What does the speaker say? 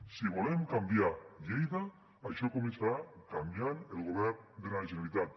si volem canviar lleida això començarà canviant el govern de la generalitat